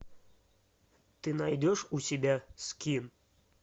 ты найдешь у себя скин